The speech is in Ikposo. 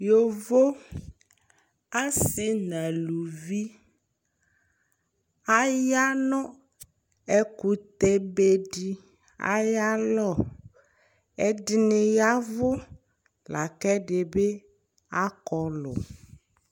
Yovo asi nʋ alevi ayanʋ ɛkʋtɛ bedi ayʋ alɔ ɛdini yavʋ lakʋ ɛdibi akɔlʋ